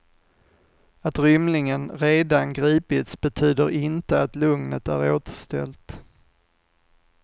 Att rymlingen redan gripits betyder inte att lugnet är återställt.